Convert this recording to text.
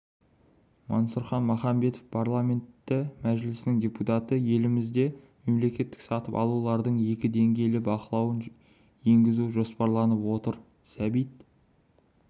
мансұрхан махамбетов парламенті мәжілісінің депутаты елімізде мемлекеттік сатып алулардың екі деңгейлі бақылауын енгізу жоспарланып отыр сәбит